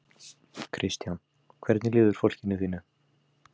Kristján: Hvernig líður fólkinu þínu?